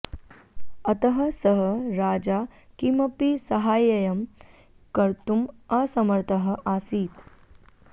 अतः सः राजा किमपि साहाय्यं कर्तुम् असमर्थः आसीत्